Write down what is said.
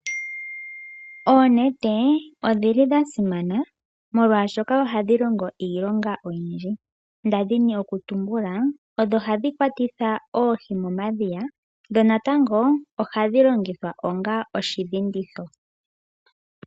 Oonete odhili dhasimana molwashoka ohadhi longo iilonga oyindji ngaashi ndadhini okutumbula odho hadhi kwatitha oohi momadhiya dho natango ohadhi longithwa onga oshidhinditho.